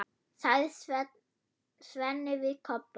sagði Svenni við Kobba.